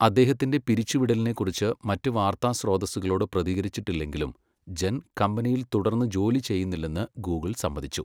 അദ്ദേഹത്തിൻ്റെ പിരിച്ചുവിടലിനെക്കുറിച്ച് മറ്റു വാർത്താ സ്രോതസ്സുകളോട് പ്രതികരിച്ചിട്ടില്ലെങ്കിലും ജെൻ കമ്പനിയിൽ തുടർന്ന് ജോലി ചെയ്യുന്നില്ലെന്ന് ഗൂഗിൾ സമ്മതിച്ചു.